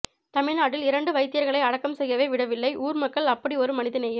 தமிழ் நாட்டில் இரண்டு வைத்தியர்களை அடக்கம் செய்யவே விடவில்லை ஊர் மக்கள் அப்படி ஒரு மனித நேயம்